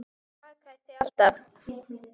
Hann bakar þig alltaf.